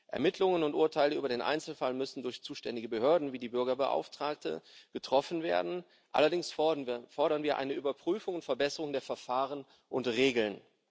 Ermittlungen und Urteile über den Einzelfall müssen durch zuständige Behörden wie die Bürgerbeauftragte getroffen werden, allerdings fordern wir eine Überprüfung und Verbesserung der Verfahren und Regeln.